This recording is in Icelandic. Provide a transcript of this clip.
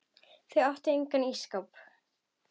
Þau áttu engan ísskáp.